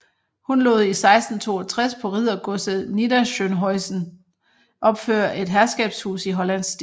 Hun lod i 1662 på riddergodset Niederschönhausen opføre et herskabshus i hollandsk stil